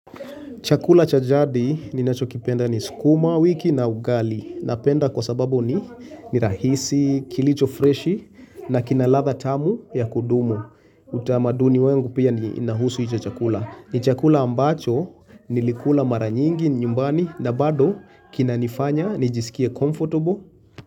Chakula cha jadi ninachokipenda ni sukuma wiki na ugali Napenda kwa sababu ni rahisi kilicho freshi na kina ladha tamu ya kudumu utamaduni wangu pia inahusu hicho chakula ni chakula ambacho, nilikula mara nyingi nyumbani na bado kinanifanya nijisikie comfortable.